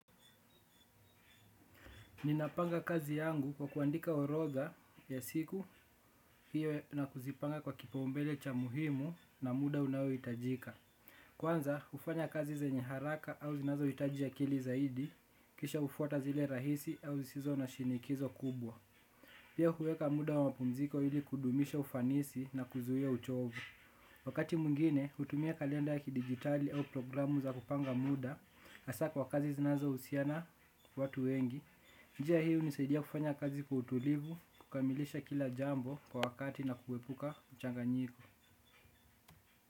Ninapanga kazi yangu kwa kuandika orodha ya siku hiyo na kuzipanga kwa kipaumbele cha muhimu na muda unaoitajika. Kwanza, ufanya kazi zenye haraka au zinazoitaji kili zaidi, kisha ufuata zile rahisi au zizona shinikizo kubwa. Pia huweka muda wa mpumziko hili kudumisha ufanisi na kuzuia uchovu. Wakati mwingine, utumia kalenda ya kidigitali au programu za kupanga muda, hasa kwa kazi zinazohusiana watu wengi. Njia hii hunisaidia kufanya kazi kwa utulivu, kukamilisha kila jambo kwa wakati na kuepuka uchanganyiko.